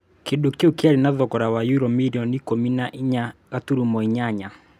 Kĩndũ kĩu kĩarĩ na thogora wa yuro mirioni ikũmi na inya ngaturumo inyanya